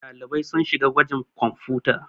ɗalibai sun shiga gwajin kwamfuta